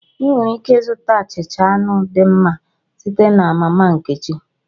Ị nwere ike ịzụta achịcha anụ dị mma site na mama nkechi